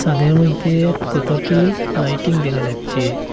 তাদের মইধ্যে কতটি লাইটিং দেখা যাচ্ছে।